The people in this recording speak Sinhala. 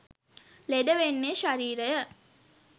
ලෙඩ වෙන්නේ ශරීරය.